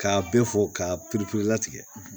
K'a bɛɛ fɔ k'a pereperelatigɛ